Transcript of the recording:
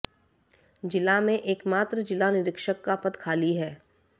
जिला में एकमात्र जिला निरीक्षक का पद खाली है